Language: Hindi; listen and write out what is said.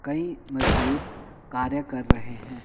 कई मजदूर कार्य कर रहे हैं।